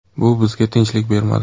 Bu bizga tinchlik bermadi.